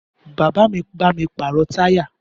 Bàbá mi bá mi pàrọ̀ táyà